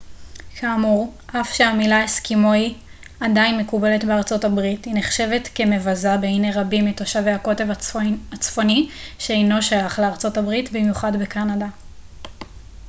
כאמור אף שהמילה אסקימואי עדיין מקובלת בארצות הברית היא נחשבת כמבזה בעיני רבים מתושבי הקוטב הצפוני שאינו שייך לארה ב במיוחד בקנדה